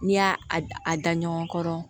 N'i y'a a da ɲɔgɔn kɔrɔ